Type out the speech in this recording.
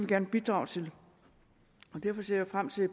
gerne bidrage til derfor ser jeg frem til